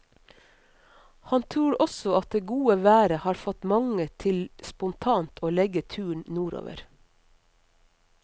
Han tror også at det gode været har fått mange til spontant å legge turen nordover.